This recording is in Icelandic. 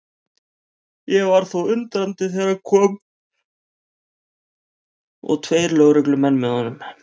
Ég varð þó undrandi þegar hann kom og tveir lögreglumenn með honum.